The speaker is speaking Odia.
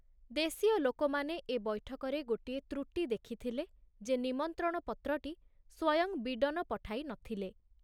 ଦେଶୀୟ ଲୋକମାନେ ଏ ବୈଠକରେ ଗୋଟିଏ ତ୍ରୁଟି ଦେଖିଥିଲେ ଯେ ନିମନ୍ତ୍ରଣପତ୍ରଟି ସ୍ବୟଂ ବୀଡ଼ନ ପଠାଇ ନଥିଲେ।